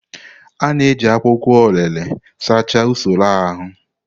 A na-eji akwụkwọ orelè sachaa usoro ahụ.